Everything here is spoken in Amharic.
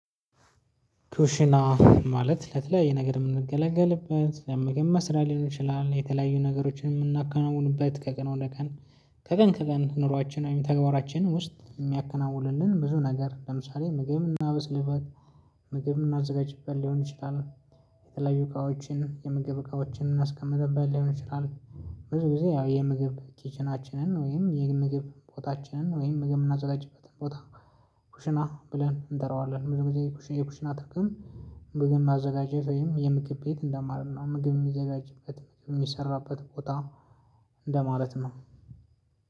ኩሽና ማለት ለተለያየ ነገር የምንገለገልበት ለምግብ መስሪያ ሊሆን ይችላል የተለያዩ ነገሮችን የምናከናውንበት ከቀኑ ወደ ቀን ከቀን ከቀን ኑሯችን ወይም ተግባራችን ውስጥ የሚያከናውንን ብዙ ነገር ለምሳሌ ምግብን ምናበስልበት ምግብን ምናዘጋጅበት ሊሆን ይችላል። የተለያዩ እቃዎችን የምግብ እቃዎችን የምናስቀመጥበት ሊሆን ይችላል። ብዙ ጊዜ ያው የምግብ ኪችናችንን ወይም የምግብ ቦታችንን ወይም ምግብ የምናዘጋጅበትን ቦታ። ኩሽና ብለን እንጠራዋለን ብዙ ጊዜ የኩሽና ጥቅም ምግብ ማዘጋጀት ወይም የምግብ ቤት እንደማለት ነው። ምግብ የሚዘጋጅበት ምግብ የሚሰራበት ቦታ። እንደማለት ነው።